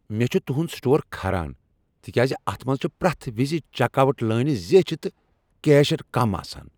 مےٚ چھ تہنٛد سٹور کھران تکیاز اتھ منٛز چھ پرٛٮ۪تھ وز چیک آوٹ لٲنہٕ زیچھِ تہٕ کیشر کم آسان۔